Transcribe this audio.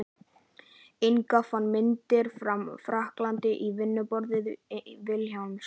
Inga fann myndirnar frá frakklandi á vinnuborði Vilhjálms.